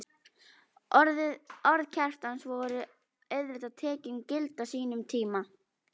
Orð Kjartans voru auðvitað tekin gild á sínum tíma.